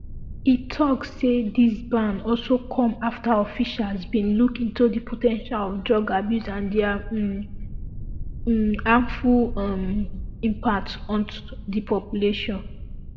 e tok say dis ban also come afta officials bin look into di po ten tial of drug abuse and dia um harmful um impact ot di population